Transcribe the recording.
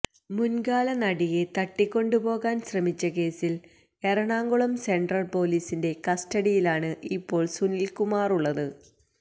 മുന്കാല നടിയെ തട്ടിക്കൊണ്ടുപോകാന് ശ്രമിച്ച കേസില് എറണാകുളം സെന്ട്രല് പൊലീസിന്റെ കസ്റ്റഡിയിലാണ് ഇപ്പോള് സുനില്കുമാറുള്ളത്